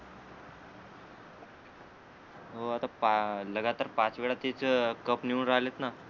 हो आता पा लगातार पाच वेळा तेच अं कप नेऊन राहिलेतना